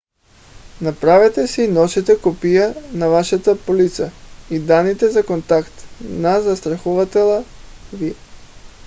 направете и си носете копия на вашата полица и данните за контакт на застрахователя ви